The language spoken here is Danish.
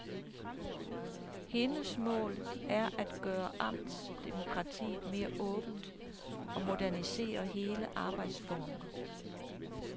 Hendes mål er at gøre amtsdemokratiet mere åbent og modernisere hele arbejdsformen.